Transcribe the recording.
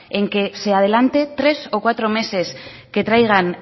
en que se adelante tres o cuatro meses que traigan